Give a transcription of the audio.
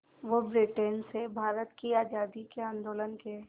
वो ब्रिटेन से भारत की आज़ादी के आंदोलन के